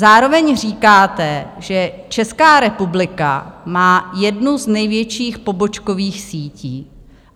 Zároveň říkáte, že Česká republika má jednu z největších pobočkových sítí.